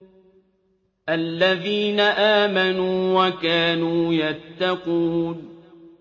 الَّذِينَ آمَنُوا وَكَانُوا يَتَّقُونَ